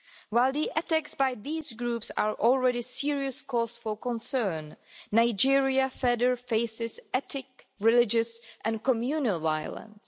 While the attacks by these groups are already a serious cause for concern, Nigeria further faces ethnic, religious and communal violence.